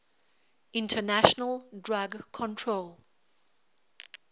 international drug control